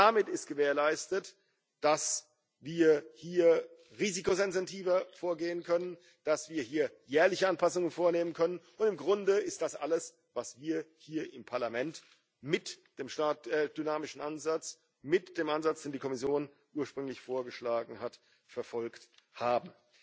Damit ist gewährleistet, dass wir hier risikosensitiver vorgehen können, dass wir hier jährliche Anpassungen vornehmen können, und im Grunde ist das alles, was wir hier im Parlament mit dem dynamischen Ansatz, mit dem Ansatz, den die Kommission ursprünglich vorgeschlagen hat, verfolgt haben.